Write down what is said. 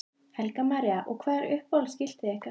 Helga María: Og hvað er uppáhalds skiltið ykkar?